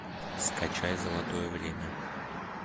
скачай золотое время